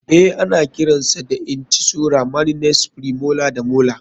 Eh ana kiran sa da incisora maninies, premolar da molar.